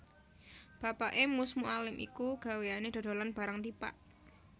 Bapaké Mus Mualim iku gaweyané dodolan barang tipak